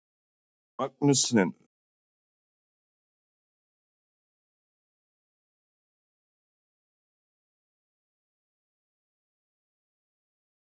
Magnús Hlynur: En er það ekki erfitt að ganga á eftir snjóblásaranum allan daginn?